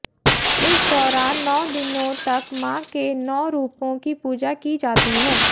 इस दौरान नौ दिनों तक मां के नौ रूपों की पूजा की जाती है